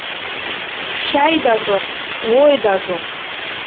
шәй да жоқ ой да жоқ